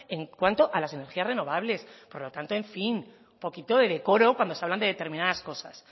en cuanto a las energías renovables por lo tanto en fin un poquito de decoro cuando se hablan de determinadas cosas